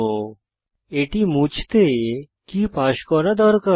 এখন এটি মুছতে কী পাস করা দরকার